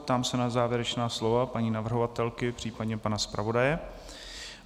Ptám se na závěrečná slova paní navrhovatelky, případně pana zpravodaje.